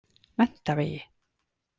Menntavegi